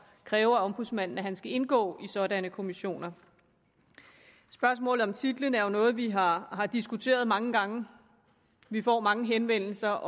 kræve af ombudsmanden at han skal indgå i sådanne kommissioner spørgsmålet om titlen er jo noget vi har diskuteret mange gange vi får mange henvendelser